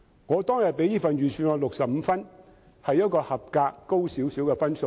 我當天給予這份預算案65分，是較合格高少許的分數。